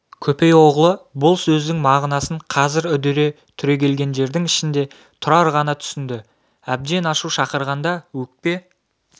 көпей оғлы бұл сөздің мағынасын қазір үдере түрегелгендердің ішінде тұрар ғана түсінді әбден ашу шақырғанда өкпе